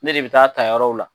Ne de bɛ taa ta yɔrɔw la.